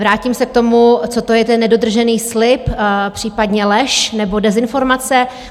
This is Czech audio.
Vrátím se k tomu, co to je ten nedodržený slib, případně lež nebo dezinformace.